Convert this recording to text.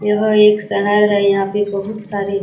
यह एक शहर है यहाँ पे बहुत सारे --